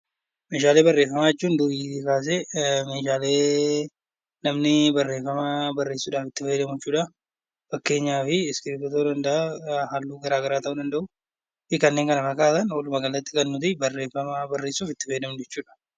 Meeshaalee barreeffamaa jechuun meeshaalee durii kaasee meeshaalee dhalli namaa barreessuudhaaf itti fayyadamu jechuudha. Fakkeenyaaf iskiriiptoo ta'uu danda'a, halluu gara garaa ta'uu danda'u kanneen kana fakkaatan. Walumaagalatti kan nuti barreeffama barreessuuf itti fayyadamnu jechuudha.